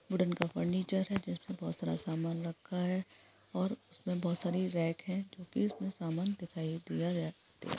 wooden का furniture है जिसमें बहुत सारा सामान रखा है और उसमें बहुत सारी रेक है जो की उसमे समान दिखाई--